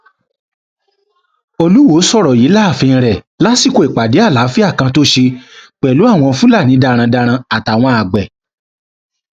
olùwọọ sọrọ yìí láàfin rẹ lásìkò ìpàdé àlàáfíà kan tó ṣe pẹlú àwọn fúlàní darandaran àtàwọn àgbẹ